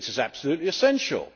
2 It is absolutely essential.